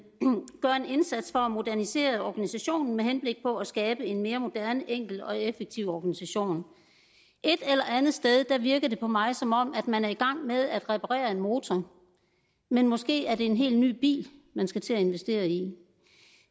indsats for at modernisere organisationen med henblik på at skabe en mere moderne enkel og effektiv organisation et eller andet sted virker det på mig som om man er i gang med at reparere en motor men måske er det en helt ny bil man skal til at investere i